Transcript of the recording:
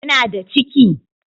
Kina da ciki?